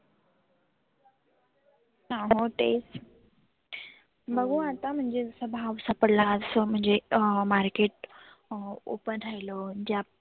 हा हो तेच. बघु आता सभा सापडला आज अं म्हणजे market अं open राहिल जे आप